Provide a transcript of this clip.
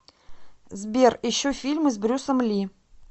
сбер ищу фильмы с брюсом ли